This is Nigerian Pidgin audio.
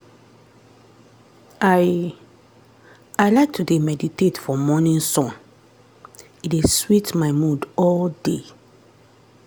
i i like to dey meditate for morning sun — e dey sweet my mood all day.